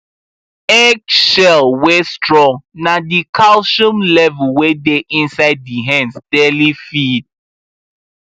eggshell wey strong na the calcium level wey dey inside the hens daily feed